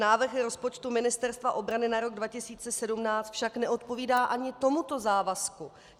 Návrh rozpočtu Ministerstva obrany na rok 2017 však neodpovídá ani tomuto závazku.